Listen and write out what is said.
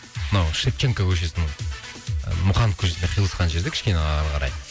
мынау шевченко көшесінің мұқанов көшесіне қиылысқан жерде кішкене ары қарай